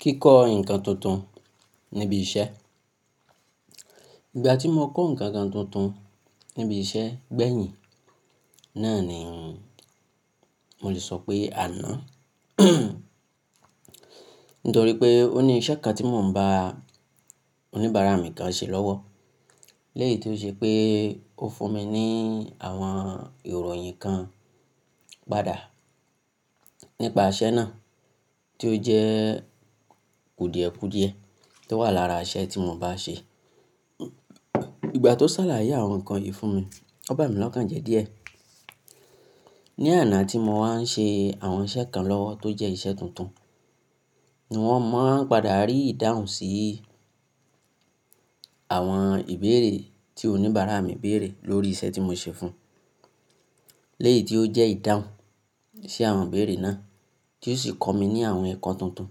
Kíkọ́ ǹkan tuntun níbi iṣẹ́. Ìgbà tí mo kọ́ ǹkan kan tuntun níbi iṣẹ́ gbẹ̀yìn náà ni mò lè sọ pé àná nítorí pé ó ní iṣẹ́ kan tí mò ń bá oníbàárà mi kan ṣẹ lọ́wọ́. Lẹ́yìn tí ó ṣe pé ó fún mi ní àwọn ìròyìn kan padà nípa iṣẹ́ náà tí ó jẹ́ kùdìẹ̀kùdìẹ tó wà lára iṣẹ́ tí mò bá ṣe. Ìgbà tó sàlàyé àwọn ǹkan yìí fún mi, ọ́ bá mi lọ́kàn jẹ́ díẹ̀. Ní àná tí mo wá ń ṣe àwọn iṣẹ́ kan lọ́wọ́ tó jẹ́ iṣẹ́ tuntun ni wọ́n máa ń padà rí ìdáhùn sí àwọn ìbéèrè tí oníbàárà mi béèrè lórí iṣẹ́ tí mo ṣe fún. Leyì tí ó jẹ́ ìdáhùn sí àwọn ìbéèrè náà tí ó sì kọ̀ mí ní àwọn ẹ̀kọ́ tuntun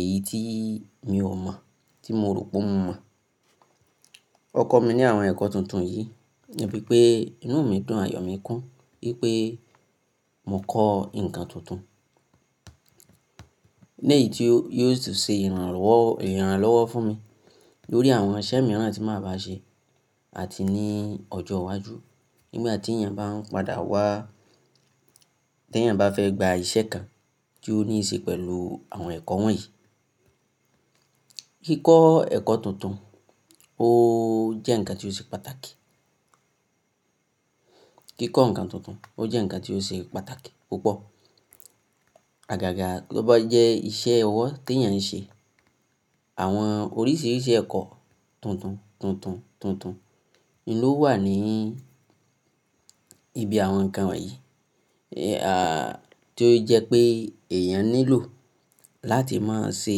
èyí tí mi ò mọ̀ tí mo rò pé mo mọ̀. Ọ́ kọ̀ mí ní àwọn ẹ̀kọ́ tuntun yìí níbí pé inú mi dùn àyò mí kún wípé mo kọ́ ǹkan tuntun. Lẹ́yìi tí ó, ó ṣe ìrànlọ́wọ́, ìrànlọ́wọ́ fún mi lórí àwọn iṣẹ́ mìíràn tí màá ba ṣe àti ní ọjọ́ iwájú nígb tí èèyàn bá ń padà wá, tí èèyàn bá fẹ́ gba iṣẹ́ kan tí ó ní í ṣe pẹ̀lú àwọn ẹ̀kọ́ wọ̀nyí. Kíkọ́ ẹ̀kọ́ tuntun ó jẹ́ ǹkan tí ó ṣe pàtàkì. Kíkọ́ ǹkan tuntun ó jẹ́ ǹkan tí ó ṣe pàtàkì púpọ̀. Àgàgà tọ́ bá jẹ́ iṣẹ́ owọ́ tí èèyàn ń ṣe, àwọn oríṣiríṣi ẹ̀kọ́ tuntun, tuntun, tuntun ni ó wà ní ibi àwọn ǹkan wọ̀nyí. À tí ó jẹ́ pé èèyàn nílò láti máa ṣe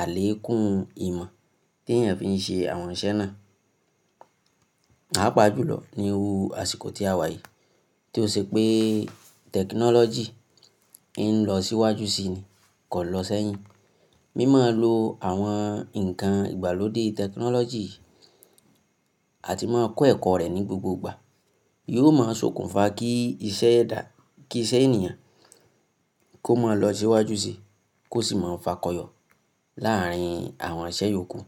àlékún ìmọ̀ tí èèyàn fi ń ṣe àwọn iṣẹ́ náà. Papa jùlọ ní ni iru àsìkò tí a wà yìí tí ó ṣe pé tẹkinọ́lọ́jì ń lọ síwájú síi ni kò lọ sẹ́yìn. Mímọ̀ọ́ lo àwọn ǹkan ìgbàlódé tẹkinọ́lọ́jì àti máa kọ́ ẹ̀kọ́ rẹ̀ ní gbogbo ìgbà yóò máa sokùnfà kí iṣẹ́ ẹ dà, kí iṣẹ́ ènìyàn kó má lọ síwájú síí kó sì máa fàkọyọ̀ láàárín àwọn iṣẹ́ yòókù.